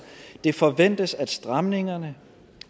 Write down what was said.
det forventes at stramningerne